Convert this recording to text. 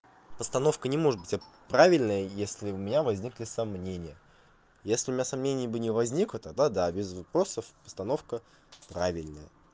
постановка не может быть правильной если у меня возникли сомнения если у меня сомнений бы не возникло тогда да без вопросов постановка правильная